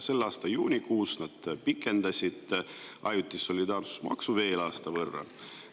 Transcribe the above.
Selle aasta juunikuus nad pikendasid ajutise solidaarsusmaksu veel aasta võrra.